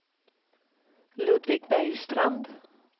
Ludvig Bergstrand